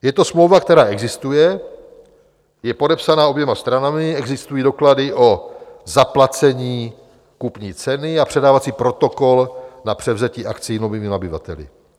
Je to smlouva, která existuje, je podepsaná oběma stranami, existují doklady o zaplacení kupní ceny a předávací protokol na převzetí akcií novými nabyvateli?